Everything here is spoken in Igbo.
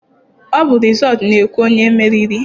Ọ bụ rịzọọtụ na-ekwu onye meriri.